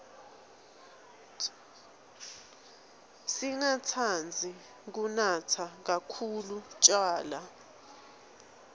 singatsandzi kunatsa khkhulu tjwala